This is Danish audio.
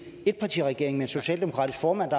etpartiregering med en socialdemokratisk formand